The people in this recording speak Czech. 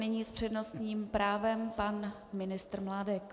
Nyní s přednostním právem pan ministr Mládek.